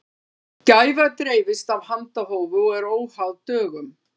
gæfa dreifist af handahófi og er óháð dögum